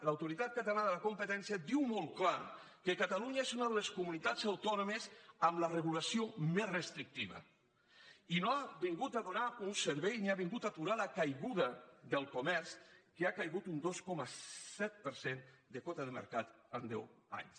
l’autoritat catalana de la competència diu molt clar que catalunya és una de les comunitats autònomes amb la regulació més restrictiva i no ha vingut a donar un servei ni ha vingut a aturar la caiguda del comerç que ha caigut un dos coma set per cent de quota de mercat en deu anys